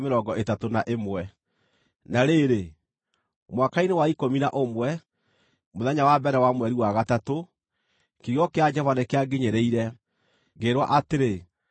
Na rĩrĩ, mwaka-inĩ wa ikũmi na ũmwe, mũthenya wa mbere wa mweri wa gatatũ, kiugo kĩa Jehova nĩkĩanginyĩrĩire, ngĩĩrwo atĩrĩ: